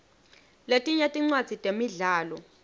letinye tincwadzi temidlalo